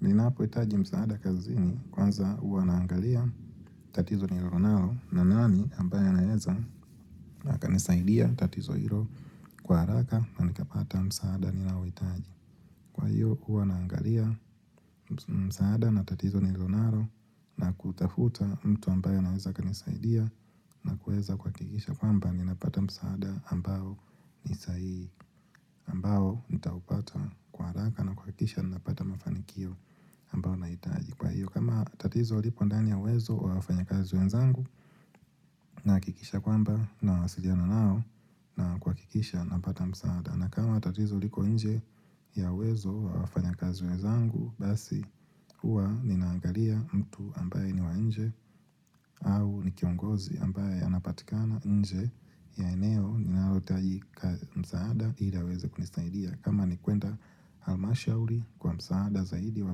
Ninapo hitaji msaada kazini kwanza huwa naangalia tatizo nillionalo na nani ambaye anaeza na akanisaidia tatizo hilo kwa haraka na nikapata msaada ninalo hitaji. Kwa hiyo huwa naangalia msaada na tatizo nililo nalo na kutafuta mtu ambaye anaeza kanisaidia na kuweza kuhakikisha kwamba ninapata msaada ambalo ni sahihi ambao nitaupata kwa haraka na kuhakikisha ninapata mafanikio ambao na hitaji. Kwa hiyo kama tatizo lipo ndani ya uwezo wa wafanyakazi wenzangu nahakikisha kwamba na wasiliana nao na kuha kikisha napata msaada na kama tatizo liko nje ya uwezo wa wafanya kazi wenzangu basi huwa ninaangalia mtu ambaye niwa nje au ni kiongozi ambaye anapatikana nje ya eneo ninalohitaji msaada iliaweze kunisaidia kama ni kuenda al-Mashawri kwa msaada zaidi wa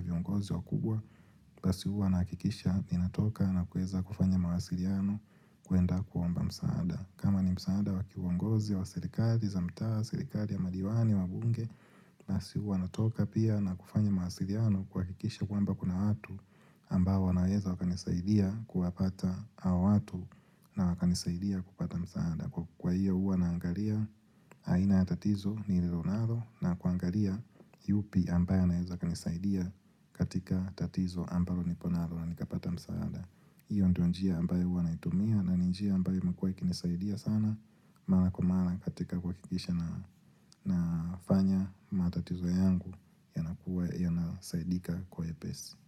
viongozi wa kubwa, basi huwa nahakikisha ninatoka na kuweza kufanya mawasiliano kuenda kuomba msaada. Kama ni msaada wakiongozi wa serikali, za mtaa, serikali ya madiwani, wabunge, basi huwa natoka pia na kufanya mawasiliano kuhakikisha kwamba kuna watu ambao wanaweza wakanisaidia kuwapata hawa watu na wakanisaidia kupata msaada. Kwa hiyo huwa naangalia aina ya tatizo nililo nalo na kuangalia yupi ambaye anaeza akanisaidia katika tatizo ambalo niko nalo na nikapata msaada hiyo ndio njia ambayo huwa naitumia na ni njia ambayo imekuwa ikinisaidia sana Mara kwa mara katika kuhakikisha nafanya matatizo yangu yakuwa nasaidika kwa upesi.